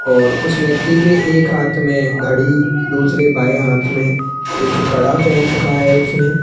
और उस व्यक्ति के एक हाथ में घड़ी दूसरे बाएं हाथ में एक कड़ा पहन रखा है उसने --